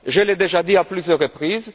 Je l'ai déjà dit, à plusieurs reprises